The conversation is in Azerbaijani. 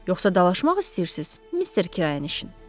Yoxsa dalaşmaq istəyirsiz, Mister Kirayənişin?